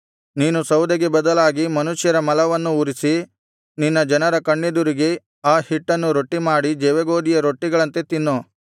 ನೀನು ಸೌದೆಗೆ ಬದಲಾಗಿ ಮನುಷ್ಯರ ಮಲವನ್ನು ಉರಿಸಿ ನಿನ್ನ ಜನರ ಕಣ್ಣೆದುರಿಗೆ ಆ ಹಿಟ್ಟನ್ನು ರೊಟ್ಟಿಮಾಡಿ ಜವೆಗೋದಿಯ ರೊಟ್ಟಿಗಳಂತೆ ತಿನ್ನು